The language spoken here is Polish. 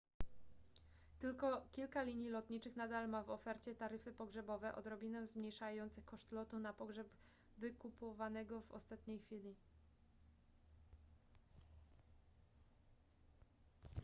tylko kilka linii lotniczych nadal ma w ofercie taryfy pogrzebowe odrobinę zmniejszające koszt lotu na pogrzeb wykupowanego w ostatniej chwili